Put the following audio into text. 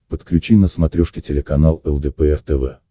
подключи на смотрешке телеканал лдпр тв